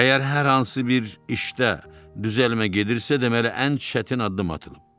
Əgər hər hansı bir işdə düzəlmə gedirsə, deməli ən çətin addım atılıb.